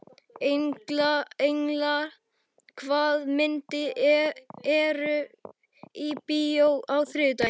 Engla, hvaða myndir eru í bíó á þriðjudaginn?